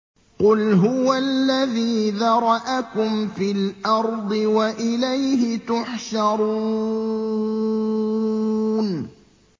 قُلْ هُوَ الَّذِي ذَرَأَكُمْ فِي الْأَرْضِ وَإِلَيْهِ تُحْشَرُونَ